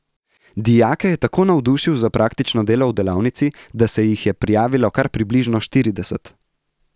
Dijake je tako navdušil za praktično delo v delavnici, da se jih je prijavilo kar približno štirideset!